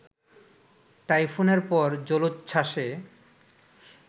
টাইফুনের পর জলোচ্ছ্বাসে